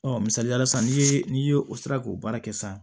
Ɔ misalila sisan n'i ye n'i ye o sera k'o baara kɛ sisan